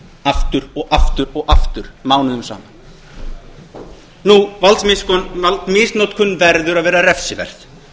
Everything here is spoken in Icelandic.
aftur og aftur og aftur mánuðum saman valdmisnotkun verður að vera refsiverð